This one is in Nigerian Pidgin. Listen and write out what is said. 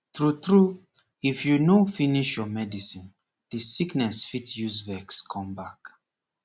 tru tru if you no finish you medicine the sickness fit use vex come back